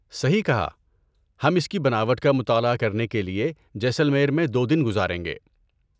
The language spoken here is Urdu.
صحیح کہا! ہم اس کی بناوٹ کا مطالعہ کرنے کے لیے جیسلمیر میں دو دن گزاریں گے۔